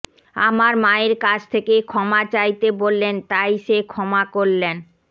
আমার মায়ের কাছ থেকে ক্ষমা চাইতে বললেন তাই সে ক্ষমা করলেন